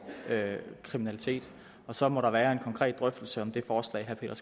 kriminalitet og så må der være en konkret drøftelse om det forslag herre